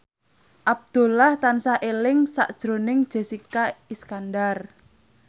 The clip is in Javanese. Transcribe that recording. Abdullah tansah eling sakjroning Jessica Iskandar